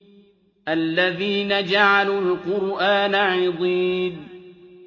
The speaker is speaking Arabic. الَّذِينَ جَعَلُوا الْقُرْآنَ عِضِينَ